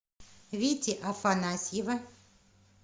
вити афанасьева